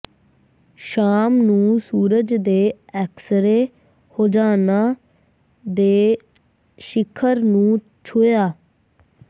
ਸ਼ਾਮ ਨੂੰ ਸੂਰਜ ਦੇ ਐਕਸਰੇ ਹੋਜਾਣਾ ਦੇ ਸਿਖਰ ਨੂੰ ਛੂਹਿਆ